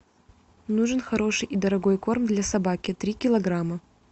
нужен хороший и дорогой корм для собаки три килограмма